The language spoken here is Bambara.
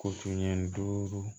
Ko fini duuru